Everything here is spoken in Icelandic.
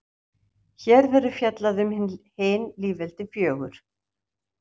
Hér verður fjallað um hin lýðveldin fjögur.